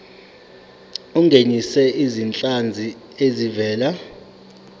ungenise izinhlanzi ezivela